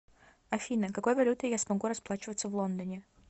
афина какой валютой я смогу расплачиваться в лондоне